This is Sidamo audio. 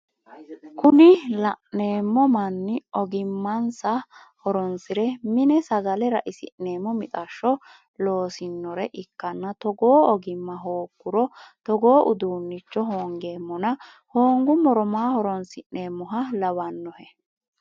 Kunni la'neemmo manni ogimmansa horonsire mine sagale ra"isi'neemmo mixashsho loosinore ikkanna togoo ogimma hooguro togoo udunnicho hongeemmona hongummoro maa horonsi'neemoha lawannohe?